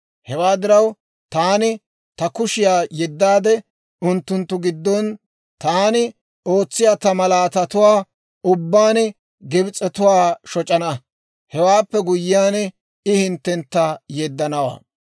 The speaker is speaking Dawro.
Hewaa diraw, Taani Ta kushiyaa yeddaade, unttunttu giddon Taani ootsiyaa Ta malaatatuwaa ubbaan Gibs'etuwaa shoc'ana. Hewaappe guyyiyaan I hinttentta yeddanawaa.